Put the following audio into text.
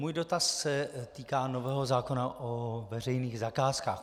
Můj dotaz se týká nového zákona o veřejných zakázkách.